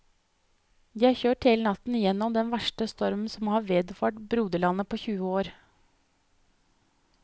De har kjørt hele natten gjennom den verste storm som har vederfart broderlandet på tjue år.